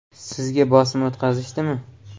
Sizga bosim o‘tkazishdimi?